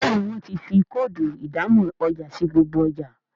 Béèni wón tí fí Kóòdù ìdámọ̀ ọjà sí gbogbo ọjà.